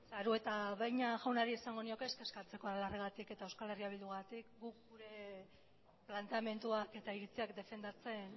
arieta araunabeña jaunari esango nioke ez kezkatzeko aralarrengatik eta euskal herri bildugatik guk gure planteamenduak eta iritziak defendatzen